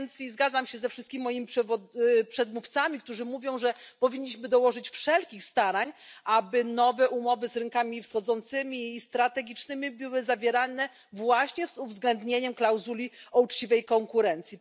Zgadzam się ze wszystkimi moimi przedmówcami, którzy mówią, że powinniśmy dołożyć wszelkich starań, aby nowe umowy z rynkami wschodzącymi i strategicznymi były zawierane właśnie z uwzględnieniem klauzuli o uczciwej konkurencji.